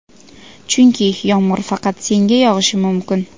chunki yomg‘ir faqat senga yog‘ishi mumkin.